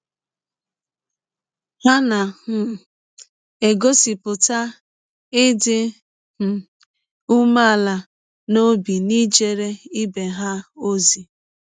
Ha na um - egọsipụta ịdị um ụmeala n’ọbi n’ijere ibe ha ọzi.